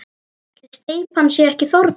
Ætli steypan sé ekki þornuð?